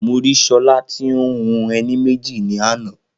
Mo rí Ṣọlá tí o ń hun ẹní méjì ní àná